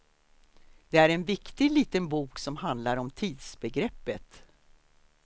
Det är en viktig, liten bok som handlar om tidsbegreppet.